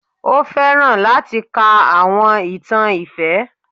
O fẹran lati ka awọn itan ifẹ.